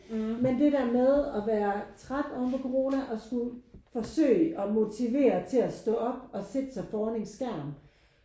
Men det der med at være træt ovenpå corona og skulle forsøge at motivere til at stå op og sætte sig foran en skærm